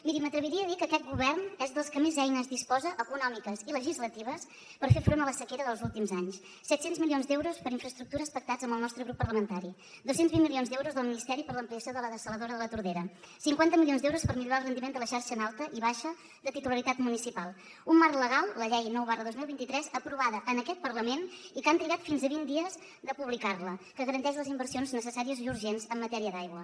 miri m’atreviria a dir que aquest govern és dels que més eines disposa econòmiques i legislatives per fer front a la sequera dels últims anys set cents milions d’euros per infraestructures pactats amb el nostre grup parlamentari dos cents i vint milions d’euros del ministeri per l’ampliació de la dessaladora de la tordera cinquanta milions d’euros per millorar el rendiment de la xarxa en alta i baixa de titularitat municipal un marc legal la llei nou dos mil vint tres aprovada en aquest parlament i que han trigat fins a vint dies a publicar la que garanteix les inversions necessàries i urgents en matèria d’aigua